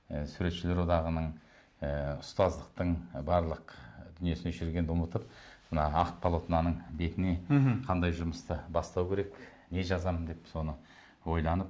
і суретшілер одағының ы ұстаздықтың барлық дүниесін осы жерге келгенде ұмытып мына ақ полотноның бетіне мхм қандай жұмысты бастау керек не жазам деп соны ойланып